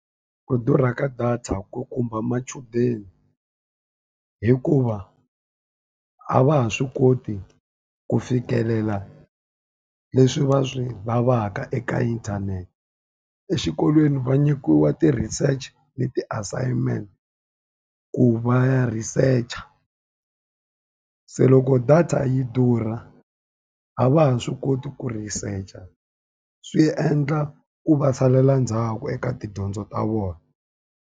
Ku durha ka data ku khumba machudeni hikuva, a va ha swi koti ku fikelela leswi va swi lavaka eka inthanete. Exikolweni va nyikiwa ti-research ni ti-assignment ku va ya research-a. Se loko data yi durha a va ha swi koti ku research-a, swi endla ku va salela ndzhaku eka tidyondzo ta vona.